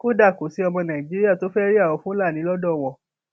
kódà kò sí ọmọ nàìjíríà tó fẹẹ rí àwọn fúlàní lọdọ wọn